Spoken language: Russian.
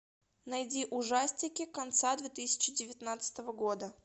найди ужастики конца две тысячи девятнадцатого года